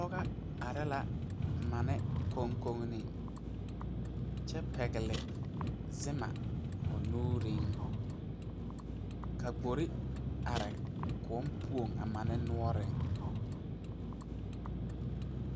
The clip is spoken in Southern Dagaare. Pɔge are la mani koŋkogreŋ kyɛ pɛgle zoma o nuureŋ ka gbori are koɔ poɔŋ a mani noɔreŋ .